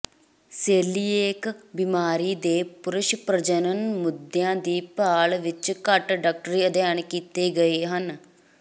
coeliac ਬੀਮਾਰੀ ਦੇ ਪੁਰਸ਼ ਪ੍ਰਜਣਨ ਮੁੱਦਿਆਂ ਦੀ ਭਾਲ ਵਿੱਚ ਘੱਟ ਡਾਕਟਰੀ ਅਧਿਐਨ ਕੀਤੇ ਗਏ ਹਨ